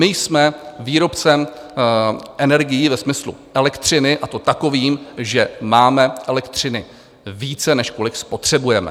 My jsme výrobcem energií ve smyslu elektřiny, a to takovým, že máme elektřiny více, než kolik spotřebujeme.